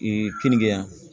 kenige yan